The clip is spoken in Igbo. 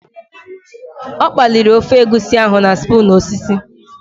Ọ kpaliri ofe egusi ahụ na spoon osisi